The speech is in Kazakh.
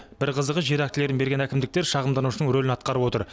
бір қызығы жер актілерін берген әкімдіктер шағымданушының рөлін атқарып отыр